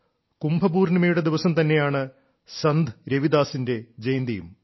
കുംഭപൂർണ്ണിമയുടെ ദിവസം തന്നെയാണ് സന്ത് രവിദാസിന്റെ ജയന്തിയും